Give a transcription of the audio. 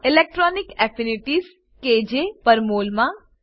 electronic affinities kJ per mol માં